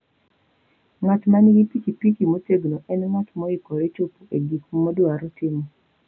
Ng'at ma nigi pikipiki motegno en ng'at moikore chopo e gik modwaro timo.